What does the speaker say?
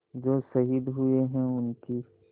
जो शहीद हुए हैं उनकी